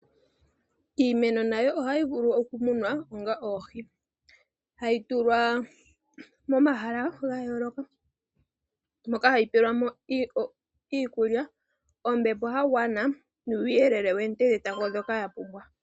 Iimeno nayo ohayi vulu okumunwa onga oohi. Hayi tulwa momahala ga yooloka moka hayi pelwa mo iikulya, ombepo ya gwana nuuyele woonte dhetango dhoka ya pumbwa.